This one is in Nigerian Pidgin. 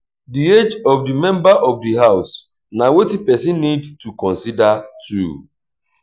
di age of the member of di house na wetin person need to consider too